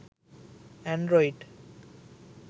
android